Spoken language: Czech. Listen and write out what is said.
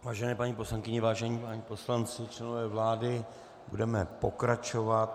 Vážené paní poslankyně, vážení páni poslanci, členové vlády, budeme pokračovat.